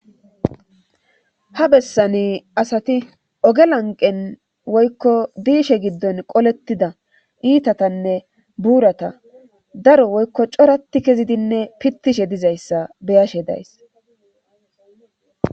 Ha bessani asati oge lanqen woykko diishe giddon qolettida iitatanne buurata daro woykko corati kezidinne pittishe dizayssa beyashe days